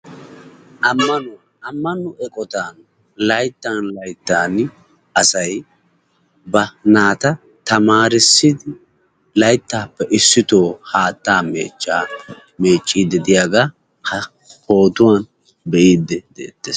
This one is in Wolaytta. Ammanuwa. Ammanuwa eqqota layttan layttan asay ba naata tamarissi layttape issito haatttaa mechcha meccidi deiyaga ha pootuwan beidi de'eetes.